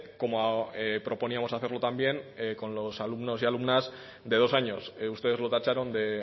como proponíamos hacerlo también con los alumnos y alumnas de dos años ustedes lo tacharon de